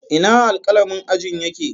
Ina alƙalamin ajin yake?